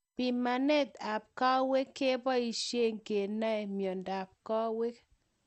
Pimanet ap kawek kepoishe kenae miondap kawek